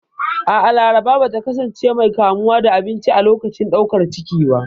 A'a, Laraba ba ta kasance mai kamuwa da abinci a lokacin ɗaukar ciki ba.